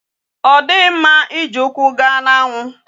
Odighi mma iji ukwu gaa na anwu